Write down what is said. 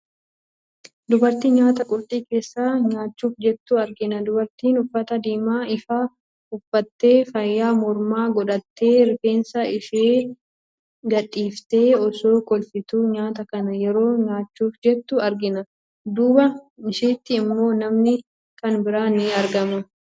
Dubartii nyaata qorxii keessaa nyaachuuf jettu argina. Dubartiin uffata diimaa ifaa uffattee, faaya mormaa godhattee, rifeensa ishii gadhiiftee, osoo kolfituu nyaata kana yeroo nyaachuuf jettu argina. Duuba ishiitti immoo namni kan biraan ni argama.